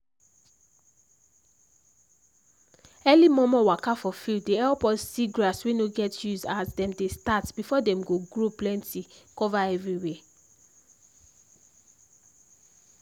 early momo waka for field dey help us see grass wey no get use as them dey start before them go grow plenty cover everywhere